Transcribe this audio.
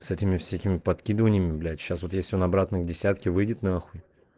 с этими всякими подкидываниями блять сейчас вот если он обратно к десятке выйдет нахуй